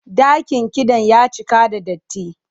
Dakin kiɗan ya cika da datti.